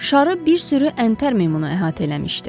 Şarı bir sürü əntər meymunu əhatə eləmişdi.